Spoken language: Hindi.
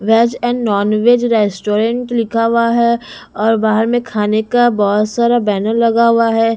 वेज एंड नॉनवेज रेस्टोरेंट लिखा हुआ है और बाहर में खाने का बहुत सारा बैनर लगा हुआ है।